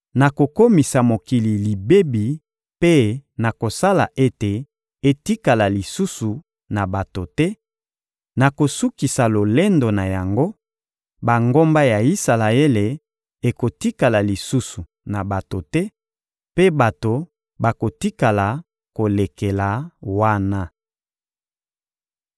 nakokomisa mokili libebi mpe nakosala ete etikala lisusu na bato te: nakosukisa lolendo na yango, bangomba ya Isalaele ekotikala lisusu na bato te, mpe bato bakotika kolekela wana.